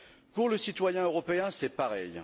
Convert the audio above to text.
Pour le citoyen européen, c'est pareil.